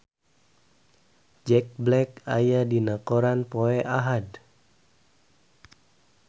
Jack Black aya dina koran poe Ahad